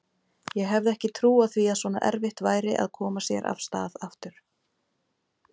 Ég hefði ekki trúað því að svona erfitt væri að koma sér af stað aftur.